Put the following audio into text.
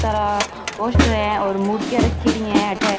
सारा पोस्टर है और मुर्तिया रखेडी है अठे।